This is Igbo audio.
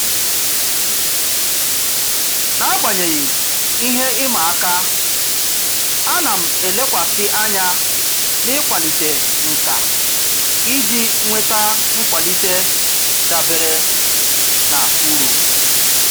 N'agbanyeghị ihe ịma aka, a na m elekwasị anya n'ịkwalite nkà iji nweta nkwalite dabere na uru.